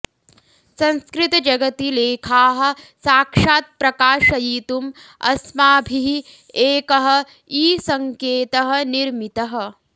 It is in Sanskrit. संस्कृतजगति लेखाः साक्षात् प्रकाशयितुं अस्माभिः एकः ईसंकेतः निर्मितः